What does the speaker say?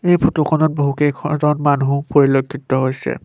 এই ফটো খনত বহুকেইখ জন মানুহ পৰিলক্ষিত হৈছে।